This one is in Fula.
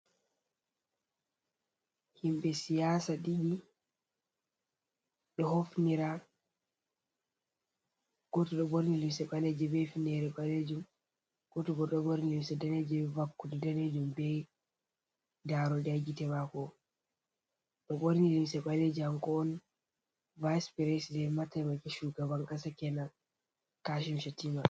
Himɓɓe siyasa ɗiɗi hofnira goto ɗo ɓorni limse ɓaleje be hfinere ɓalejum, goto ɗo ɓorni limse daneje vakude danejum, be daroɗɗe ha gitte mako, mo ɓorni limse ɓaleje hako on vice preside mataimake shugaban kasa kenan kashi chatima.